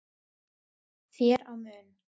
þér á munn